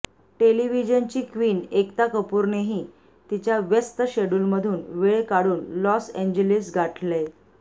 टेलिव्हीजनची queen Ekta कपूरनेही तिच्या व्यस्त शेड्युलमधून वेळ काढून लॉस एन्जेलिस गाठलंय